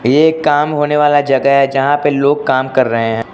ये एक काम होने वाला जगह है जहां पे लोग काम कर रहे हे।